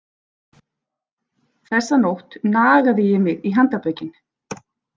Þessa nótt nagaði ég mig í handarbökin.